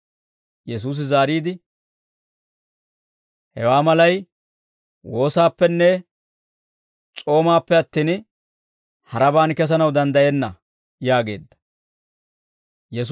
Yesuusi zaariide, «Hewaa malay woossappenne s'oomaappe attin, harabaan kesanaw danddayenna» yaageedda.